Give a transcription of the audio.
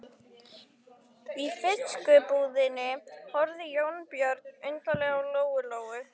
Í fiskbúðinni horfði Jónbjörn undarlega á Lóu Lóu.